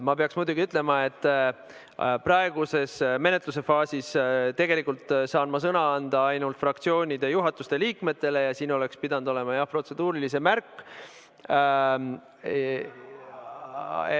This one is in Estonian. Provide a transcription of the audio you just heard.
Ma pean ütlema, et praeguses menetlusfaasis saan ma tegelikult sõna anda ainult fraktsioonide juhatuste liikmetele ja selle küsimuse oleks pidanud märkima protseduurilisena.